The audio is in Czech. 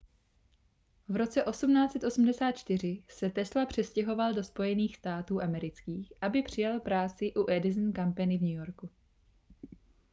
v roce 1884 se tesla přestěhoval do spojených států amerických aby přijal práci u edison company v new yorku